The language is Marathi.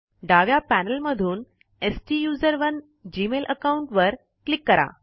डाव्या पैनल मधून स्टुसरोने जीमेल आकाउंट वर क्लिक करा